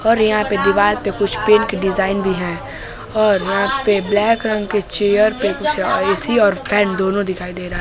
और यहां पे दीवाल पे कुछ पेन की डिजाइन भी है और पे ब्लैक रंग के चेयर पे कुछ ए_सी और फैन दोनों दिखाई दे रहा है।